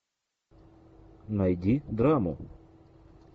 найди драму